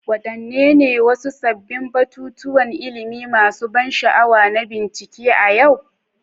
Wadanne ne wasu sabbin batutuwan ilimi masu ban sha'awa na bincike a yau?